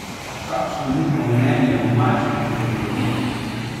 Kakšno je njihovo mnenje o malčkih in tehnologiji?